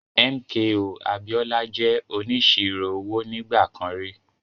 MKO Abiola jẹ́ onísirò owó nígbà kan rí.